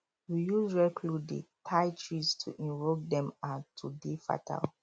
we use red cloth dey tie di trees to invoke dem um to dey fertile